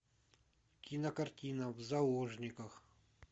кинокартина в заложниках